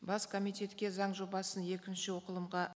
бас комитетке заң жобасын екінші оқылымға